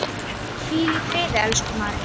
Hvíl í friði, elsku María.